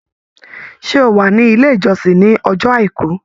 Ṣé ó wà ní ilé ìjọsìn ní ọjọ́ Àìkú?